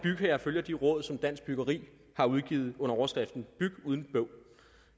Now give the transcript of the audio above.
bygherrer følger de råd som dansk byggeri har udgivet under overskriften byg uden bøvl